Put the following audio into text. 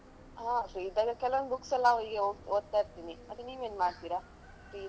ಅಹ್ free ಇದ್ದಾಗ ಕೆಲವೊಂದು books ಎಲ್ಲ ಹೇಗೆ ಓದ್ತಾ ಇರ್ತೀನಿ. ಮತ್ತೆ ನೀವ್ ಏನ್ ಮಾಡ್ತೀರಾ free ಇದ್ದಾಗ?